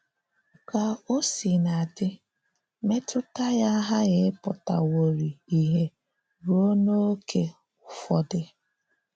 Kà ò sìnà dị, mètùtà ya àghàghị ìpụ̀tàwòrìì ìhè ruo n’ókè Ụ́fọ̀dị̀.